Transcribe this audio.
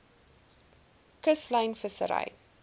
kuslyn vissery